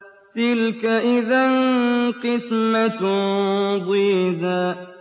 تِلْكَ إِذًا قِسْمَةٌ ضِيزَىٰ